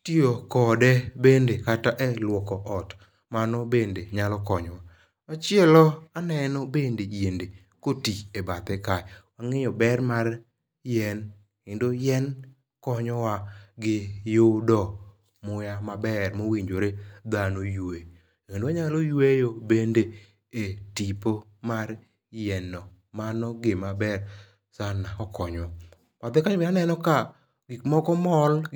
,itiyo kode bende kata e luoko ot mano bende nyalo konyowa . Machielo bende anyalo neno yiende koti e bathe kae wangeyo ber mar yien kendo yien konyowa ytudo muya maber owinjore dhano ywe, wanyalo bende yweyo e tipo mar yien no mano gima ber sana okonyowa , bathe kae be aneno ka gik moko mol